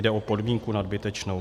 Jde o podmínku nadbytečnou.